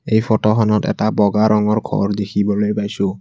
এই ফটোখনত এটা বগা ৰঙৰ ঘৰ দেখিবলৈ পাইছোঁ।